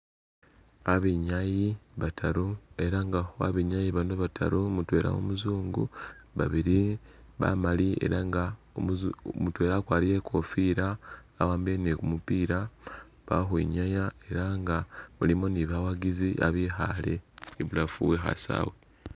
Abinyayi bataru ela nga babinyayi bano bataru mutwela umuzungu, babili bamaali ela nga umuzu mutwela akwarire i'kofila wahambile ni kumupila a khwinyaya ela nga mulimo ni bawagizi babikhale ibulafu we khasawe.